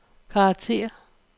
karakter